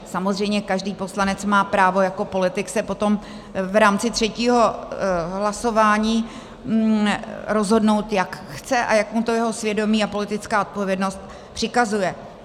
Samozřejmě každý poslanec má právo jako politik se potom v rámci třetího hlasování rozhodnout, jak chce a jak mu to jeho svědomí a politická odpovědnost přikazuje.